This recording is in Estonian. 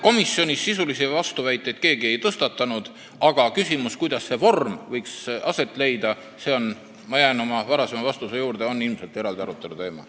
Komisjonis keegi sisulisi vastuväiteid ei esitanud, aga küsimus, kuidas see vorm võiks aset leida – ma jään oma varasema vastuse juurde – on ilmselt eraldi arutelu teema.